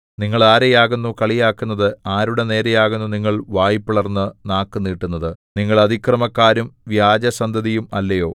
നിങ്ങൾ ആരെയാകുന്നു കളിയാക്കുന്നത് ആരുടെനേരെയാകുന്നു നിങ്ങൾ വായ് പിളർന്നു നാക്കു നീട്ടുന്നത് നിങ്ങൾ അതിക്രമക്കാരും വ്യാജസന്തതിയും അല്ലയോ